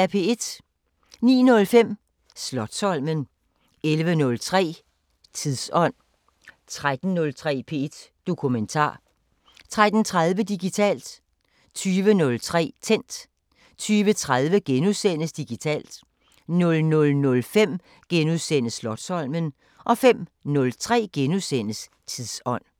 09:05: Slotsholmen 11:03: Tidsånd 13:03: P1 Dokumentar 13:30: Digitalt 20:03: Tændt 20:30: Digitalt * 00:05: Slotsholmen * 05:03: Tidsånd *